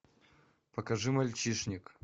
покажи мальчишник